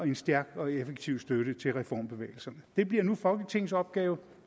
en stærk og effektiv støtte til reformbevægelserne det bliver nu folketingets opgave